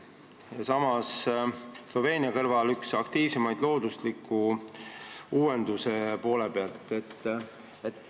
Eesti on ka Sloveenia kõrval üks aktiivsemaid loodusliku uuenduse koha pealt.